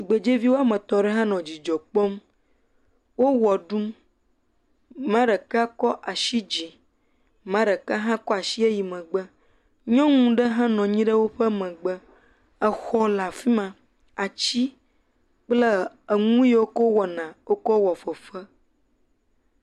Tugbezevi woame tɔ̃ ɖe hã nɔ dzidzɔ kpɔm, wo wɔ ɖum, amea ɖeka kɔ asi dzi, amea ɖeka hã kɔ asi yi megbe, nyɔnu ɖe hã nɔ anyi ɖe hã nɔ anyi ɖe woƒe megbe, exɔ le afi ma, ati kple enu yewo wokɔ wɔna wokɔ wɔ fefe.